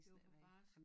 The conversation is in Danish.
Det var for barsk